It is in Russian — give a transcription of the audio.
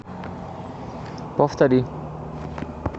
повтори